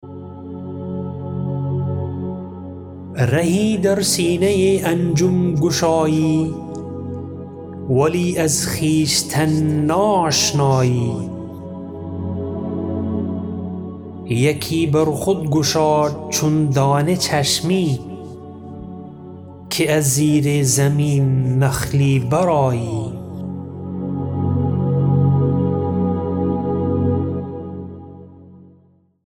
رهی در سینه انجم گشایی ولی از خویشتن ناآشنایی یکی بر خود گشا چون دانه چشمی که از زیر زمین نخلی بر آیی